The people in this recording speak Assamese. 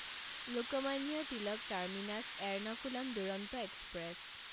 Lokmanya Tilak terminus Ernakulam Duronto express